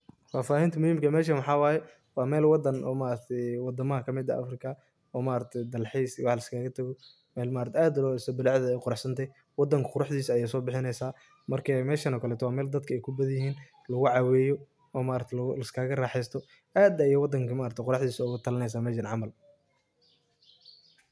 Fafahinta muhimka meshan waxawaye wa meel wadan eh o maaragti wadamaha kamid eh Africa, oo maaragti dalxis iyo waxas liskaga tago mel maaragti aad lodisay bulcadedha uqarax santahay, wadanka quraxdisa ayay sobixineysa marka meshan okaleto wa melaay dadka kubadhan yihin, lugu caweyo oo maaragti laskaga raxeysto, aad ay maaragti wadanka quraxdisa ugatalineysa meshan camal.